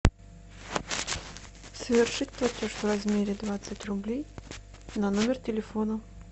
совершить платеж в размере двадцать рублей на номер телефона